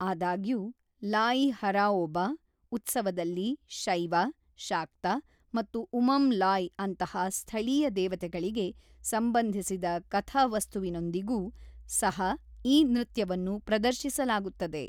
ಆದಾಗ್ಯೂ, ಲಾಯಿ ಹರಾಓಬ ಉತ್ಸವದಲ್ಲಿ ಶೈವ, ಶಾಕ್ತ ಮತ್ತು ಉಮಂ ಲಾಯ್‌ ಅಂತಹ ಸ್ಥಳೀಯ ದೇವತೆಗಳಿಗೆ ಸಂಬಂಧಿಸಿದ ಕಥಾ ವಸ್ತುವಿನೊಂದಿಗೂ ಸಹ ಈ ನೃತ್ಯವನ್ನು ಪ್ರದರ್ಶಿಸಲಾಗುತ್ತದೆ.